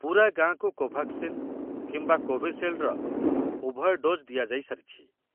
ପୂରା ଗାଁକୁ କୋଭାକ୍ସିନ କିମ୍ବା କୋଭିଶିଲ୍‌ଡ୍‌ର ଉଭୟ ଡୋଜ୍ ଦିଆଯାଇସାରିଛି।